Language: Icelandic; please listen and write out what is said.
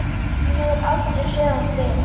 Hefur aldrei séð hann fyrr.